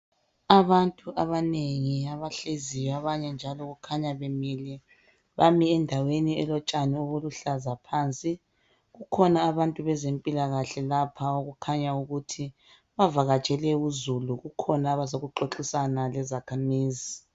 Abantu abanengi abahleziyo abanye njalo kukhanya bemile. Bame endaweni elotshani obuluhlaza phansi. Kukhona abantu bezempilakahle lapha okukhanya ukuthi bavakatshele uzulu kukhona abazokuxoxisana lezakhamizi